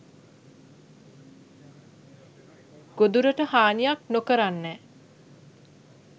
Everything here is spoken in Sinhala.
ගොදුරට හානියක් නොකරන්නැ